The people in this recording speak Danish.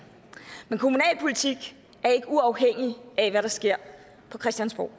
men kommunalpolitik er ikke uafhængig af hvad der sker på christiansborg